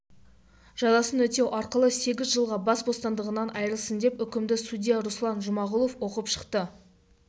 жазасын өтеу арқылы сегіз жылға бас бостандығынан айырылсын деп үкімді судья руслан жұмағұлов оқып шықты